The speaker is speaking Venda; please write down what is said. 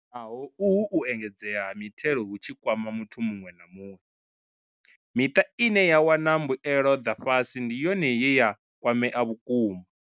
Naho uhu u engedzea ha mitengo hu tshi kwama muthu muṅwe na muṅwe, miṱa ine ya wana mbuelo dza fhasi ndi yone ye ya kwamea vhukuma.